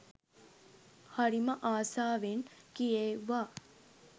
හරිම ආසාවෙන් කියෙව්වා